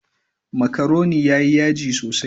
Makaroni yayi yaji sosai.